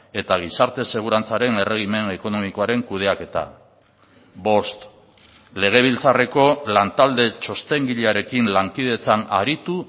eta gizarte segurantzaren erregimen ekonomikoaren kudeaketa bost legebiltzarreko lantalde txostengilearekin lankidetzan aritu